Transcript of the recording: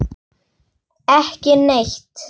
Ekki neitt